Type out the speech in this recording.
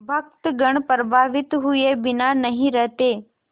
भक्तगण प्रभावित हुए बिना नहीं रहते